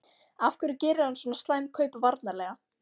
Af hverju gerir hann svona slæm kaup varnarlega?